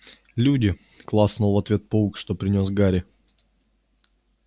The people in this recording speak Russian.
люди клацнул в ответ паук что принёс гарри